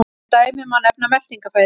Sem dæmi má nefna meltingarfærin.